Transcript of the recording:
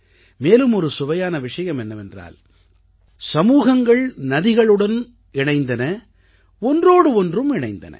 மேலும் ஒரு சுவையான விஷயம் என்னவென்றால் சமூகங்கள் நதிகளுடனும் இணைந்தன ஒன்றோடு ஒன்றும் இணைந்தன